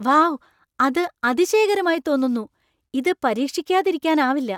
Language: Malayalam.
വൗ, അത് അതിശയകരമായി തോന്നുന്നു! ഇത് പരീക്ഷിക്കാതിരിക്കാനാവില്ല.